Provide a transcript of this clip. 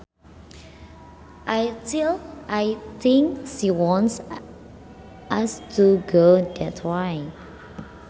I think she wants us to go that way